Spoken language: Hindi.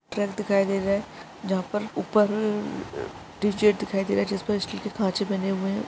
ट्रक दिखाई दे रहा है जहां पर उपर टी सेट दिखाई दे रहा है जिस पर स्टील के कांच बने है।